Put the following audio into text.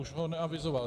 Už ho neavizoval.